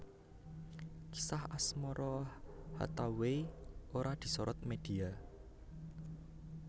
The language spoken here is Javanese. Kisah asmara Hathaway ora disorot media